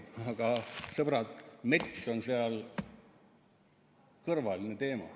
Aga sõbrad, mets on seal kõrvaline teema.